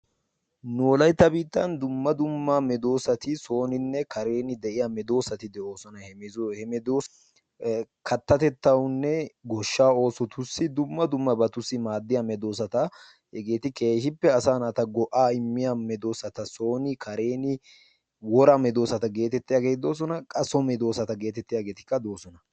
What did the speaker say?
Nu wolaytta biittan dumma dumma medoosati sooninne kareeni de'iya medoosati de'oosona. He medoosati kattatettawunne goshshaa oosotussi dumma dummabatussi maaddiya medoosata. Hegeeti keehippe asaa naata go'aa immiya medoosata. Sooni kareeni woraa medoosata geetettiyageeti doosona. Qa so medoosata geetettiyageetikka doosona.